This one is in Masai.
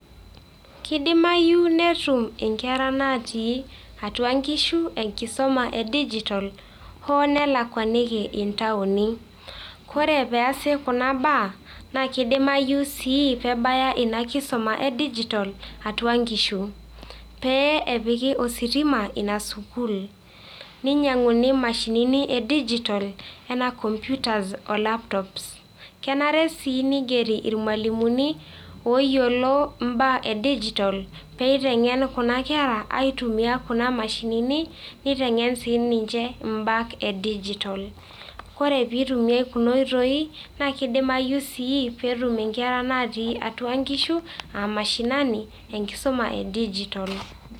kidimayu netum inkera natii atua nkishu enkisuma e digital hoo nelakwaniki intaoni .kore peasi kuna baa naa kidimayu si pebaya ina kisuma e digital atua inkishu. pee epiki ositima atua ina sukuul ,ninyanguni imashinini e digital anaa computers,o laptops ..kenare sii nigeri irmwalimuni oyiolo imbaa e digital peitengen kuna kera aitumia kuna mashinini ,nitengen sininche imbat e [cs[digital ore pitumiay kuna oitoi na kidimayu sii petum inkera atua inkishu aa mashinani enkisuma e digital